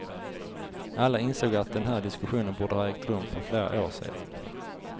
Alla insåg att den här diskussionen borde ha ägt rum för flera år sedan.